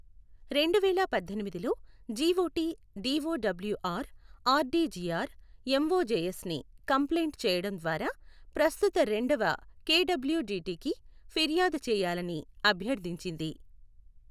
రెండువేల పద్దెనిమిది లో జీఒటి డిఒడబ్ల్యూఆర్, ఆర్డి జీఆర్, ఎంఒజేఎస్ని కంప్లైంట్ చేయడం ద్వారా ప్రస్తుత రెండవ కెడబ్ల్యూడిటి కి ఫిర్యాదు చేయాలని అభ్యర్థించింది.